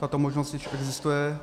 Tato možnost již existuje.